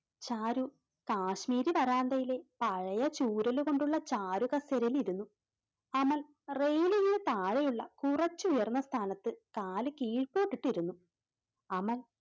ചാരു കാശ്മീരി വരാന്തയിലെ പഴയ ചൂരൽ കൊണ്ടുള്ള ചാരുകസേരയിൽ ഇരുന്നു. അമൽ താഴെയുള്ള കുറച്ചു ഉയർന്ന സ്ഥാനത്ത് കാല് കീഴ്പ്പോട്ട് ഇട്ടിരുന്നു. അമൽ